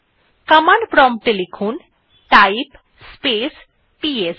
কমান্ডে prompt এ লিখুন type space PS